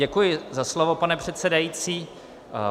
Děkuji za slovo, pane předsedající.